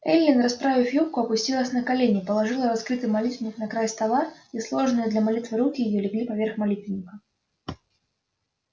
эллин расправив юбку опустилась на колени положила раскрытый молитвенник на край стола и сложенные для молитвы руки её легли поверх молитвенника